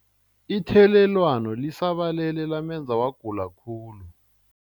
Ithelelwano lisabalele lamenza wagula khulu.